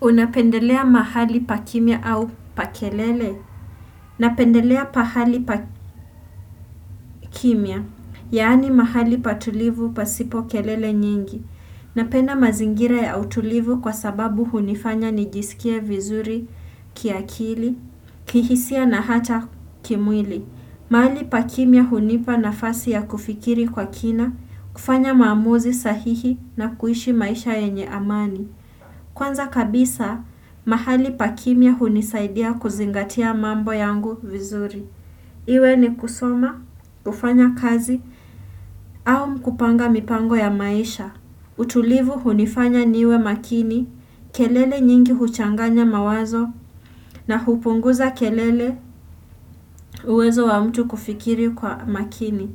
Unapendelea mahali pa kimya au pa kelele? Napendelea pahali pa kimya, yaani mahali patulivu pasipo kelele nyingi. Napenda mazingira ya utulivu kwa sababu hunifanya nijisikie vizuri kiakili, kihisia na hata kimwili. Mahali pa kimya hunipa nafasi ya kufikiri kwa kina, kufanya maamuzi sahihi na kuishi maisha yenye amani. Kwanza kabisa, mahali pa kimya hunisaidia kuzingatia mambo yangu vizuri. Iwe ni kusoma, kufanyakazi, au kupanga mipango ya maisha. Utulivu hunifanya niwe makini, kelele nyingi huchanganya mawazo na hupunguza uwezo wa mtu kufikiri kwa makini.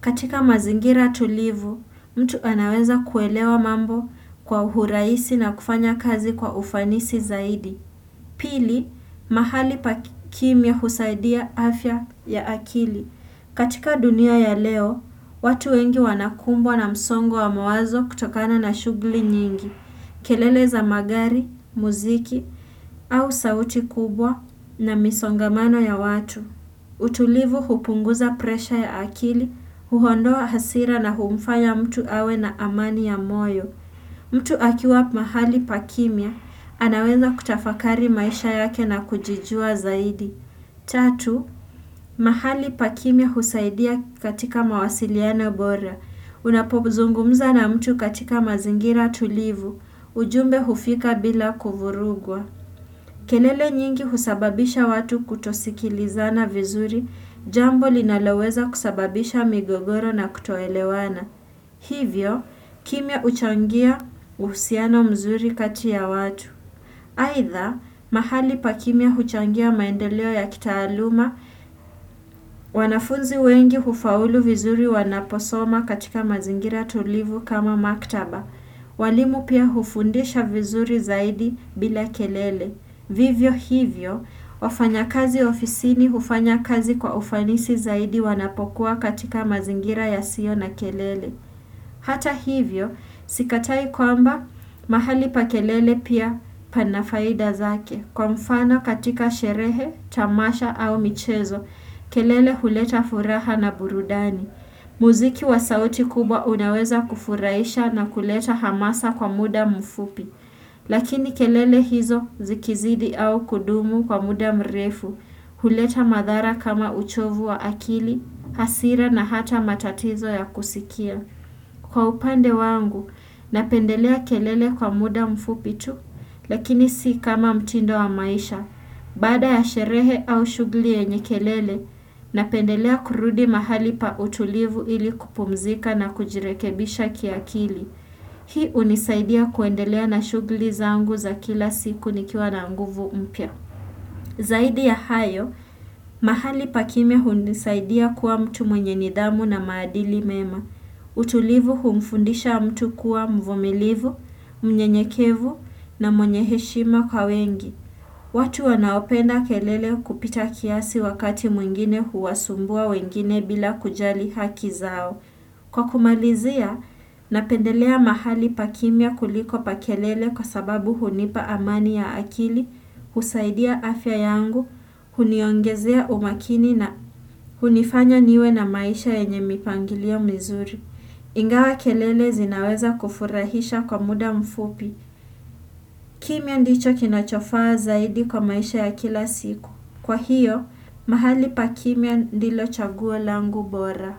Katika mazingira tulivu, mtu anaweza kuelewa mambo kwa uhuraisi na kufanya kazi kwa ufanisi zaidi. Pili, mahali pa kimya husaidia afya ya akili. Katika dunia ya leo, watu wengi wanakumbwa na msongo wa mawazo kutokana na shughuli nyingi. Kelele za magari, muziki au sauti kubwa na misongamano ya watu. Utulivu hupunguza presha ya akili, huondoa hasira na humfaya mtu awe na amani ya moyo. Mtu akiwa mahali pa kimya, anaweza kutafakari maisha yake na kujijua zaidi. Tatu, mahali pa kimya husaidia katika mawasiliano bora. Unapozungumza na mtu katika mazingira tulivu, ujumbe hufika bila kuvurugwa. Kelele nyingi husababisha watu kutosikilizana vizuri, jambo linaloweza kusababisha migogoro na kutoelewana. Hivyo, kimya uchangia uhusiano mzuri kati ya watu. Aidha, mahali pa kimya huchangia maendeleo ya kitaaluma, wanafunzi wengi hufaulu vizuri wanaposoma katika mazingira tulivu kama maktaba. Walimu pia hufundisha vizuri zaidi bila kelele. Vivyo hivyo, wafanyakazi ofisini hufanya kazi kwa ufanisi zaidi wanapokuwa katika mazingira yasiyo na kelele. Hata hivyo, sikatai kwamba, mahali pa kelele pia pana faida zake. Kwa mfano katika sherehe, tamasha au michezo, kelele huleta furaha na burudani. Muziki wa sauti kubwa unaweza kufurahisha na kuleta hamasa kwa muda mfupi. Lakini kelele hizo zikizidi au kudumu kwa muda mrefu. Huleta madhara kama uchovu wa akili, hasira na hata matatizo ya kusikia. Kwa upande wangu, napendelea kelele kwa muda mfupi tu, lakini si kama mtindo wa maisha. Baada ya sherehe au shughuli yenye kelele, napendelea kurudi mahali pa utulivu ili kupumzika na kujirekebisha kiakili. Hii hunisaidia kuendelea na shughuli zangu za kila siku nikiwa na nguvu mpya. Zaidi ya hayo, mahali pa kimya hunisaidia kuwa mtu mwenye nidhamu na maadili mema. Utulivu humfundisha mtu kuwa mvumilivu, mnyenyekevu na mwenye heshima kwa wengi. Watu wanaopenda kelele kupita kiasi wakati mwingine huwasumbua wengine bila kujali haki zao. Kwa kumalizia, napendelea mahali pa kimya kuliko pa kelele kwa sababu hunipa amani ya akili, husaidia afya yangu, huniongezea umakini na hunifanya niwe na maisha yenye mipangilio mizuri. Ingawa kelele zinaweza kufurahisha kwa muda mfupi. Kimya ndicho kinachofaa zaidi kwa maisha ya kila siku. Kwa hiyo, mahali pa kimya ndilo chaguo langu bora.